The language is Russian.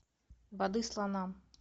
воды слонам